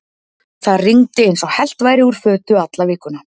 Það rigndi eins og hellt væri úr fötu alla vikuna.